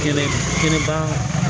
Kɛlɛ kɛnɛba